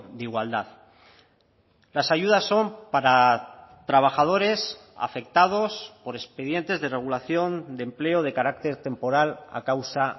de igualdad las ayudas son para trabajadores afectados por expedientes de regulación de empleo de carácter temporal a causa